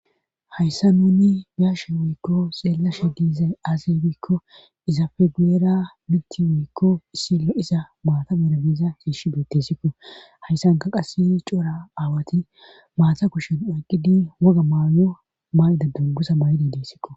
Hayssa nuni biashe wuykko xeellashe diizay azey bikko iza feguera minti wuykko issillo iza maata berabiza shiishi beettesikko hayssanka qase cora aawati maata kushen oyqqidi woga maayo maayda duggusa maydi diesikko.